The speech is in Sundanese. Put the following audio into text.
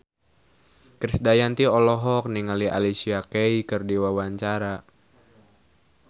Krisdayanti olohok ningali Alicia Keys keur diwawancara